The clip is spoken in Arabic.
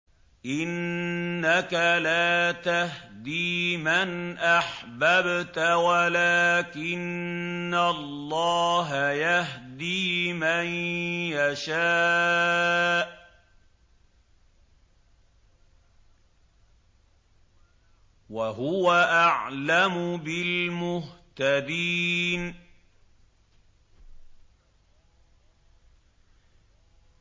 إِنَّكَ لَا تَهْدِي مَنْ أَحْبَبْتَ وَلَٰكِنَّ اللَّهَ يَهْدِي مَن يَشَاءُ ۚ وَهُوَ أَعْلَمُ بِالْمُهْتَدِينَ